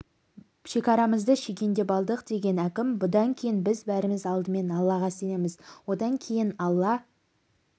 шекарамызды шегендеп алдық деген әкім бұдан кейін біз бәріміз алдымен аллаға сенеміз одан кейін алла